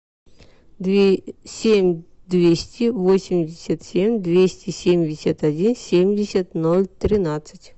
семь двести восемьдесят семь двести семьдесят один семьдесят ноль тринадцать